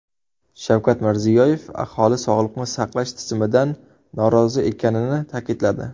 Shavkat Mirziyoyev aholi sog‘liqni saqlash tizimidan norozi ekanini ta’kidladi.